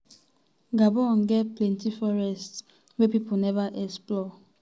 gabon get plenti forests plenti forests wey pipo neva explore.